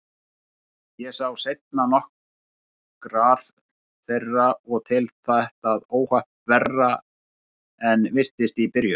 Ég sá seinna nokkrar þeirra og tel þetta óhapp verra en virtist í byrjun.